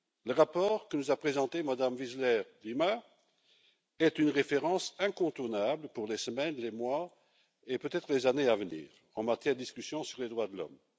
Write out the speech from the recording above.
Le rapport que nous a présenté Mme Wiseler Lima est une référence incontournable pour les semaines, les mois et peut être les années à venir en matière de discussion sur les droits de l'homme.